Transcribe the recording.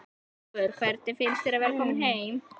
Ingólfur: Hvernig finnst þér að vera kominn heim?